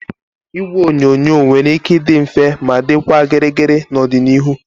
Igwe onyonyo nwere ike ịdị mfe ma dịkwa gịrịgịrị n'ọdịnihu